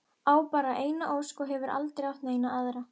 Á bara eina ósk og hefur aldrei átt neina aðra.